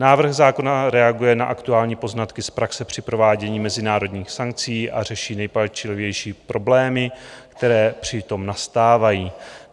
Návrh zákona reaguje na aktuální poznatky z praxe při provádění mezinárodních sankcí a řeší nejpalčivější problémy, které při tom nastávají.